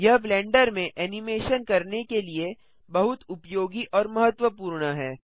यह ब्लेंडर में एनिमेशन करने के लिए बहुत उपयोगी और महत्वपूर्ण है